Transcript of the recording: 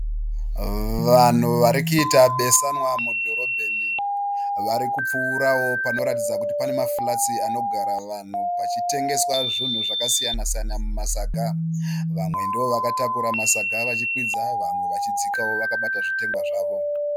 Vanhu varikuita besanwa mudhorobheni. Varikupfuurao panoratidza kuti pane ma flats anogara vanhu pachitengeswa zvinhu zvakasiyana siyana mumasaga. Vamwe ndovakatakura masaga vachikwidza vamwe vachidzikao vakabata zvitengwa zvavo.